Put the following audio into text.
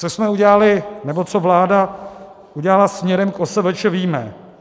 Co jsme udělali, nebo co vláda udělala směrem k OSVČ, víme.